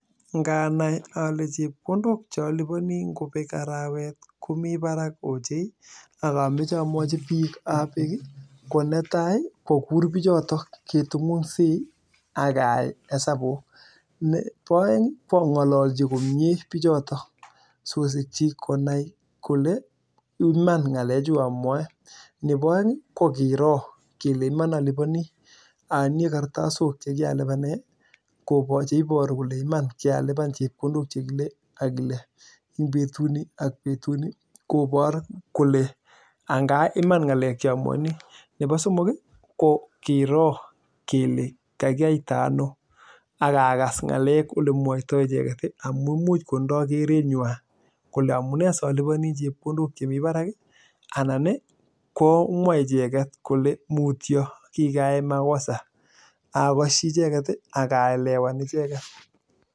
Kanai alee chepkondok che alibanii komii barak missing ii konetai ii kwakuur bichotok ii keai hesabuk neboo aeng kwangololchi bichotok ii akatinyei kartasok che ibaruu nebo somong ko kiroo kelee kakiatanoo akakas olemwotyo icheket